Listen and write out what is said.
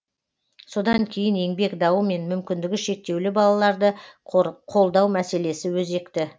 содан кейін еңбек дауы мен мүмкіндігі шектеулі балаларды қолдау мәселесі өзекті